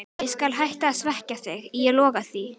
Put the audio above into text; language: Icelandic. Og ég skal hætta að svekkja þig, ég lofa því.